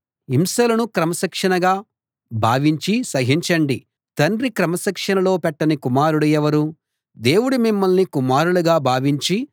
హింసలను క్రమశిక్షణగా భావించి సహించండి తండ్రి క్రమశిక్షణలో పెట్టని కుమారుడు ఎవరు దేవుడు మిమ్మల్ని కుమారులుగా భావించి మీతో వ్యవహరిస్తాడు